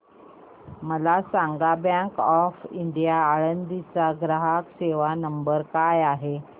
मला सांगा bank of India Alandi चा ग्राहक सेवा नंबर काय आहे